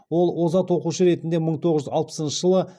ол озат оқушы ретінде мың тоғыз жүз алпысыншы жылы